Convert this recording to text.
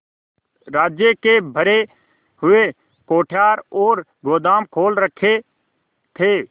राज्य के भरे हुए कोठार और गोदाम खोल रखे थे